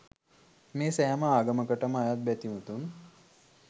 මේ සෑම ආගමකටම අයත් බැතිමතුන්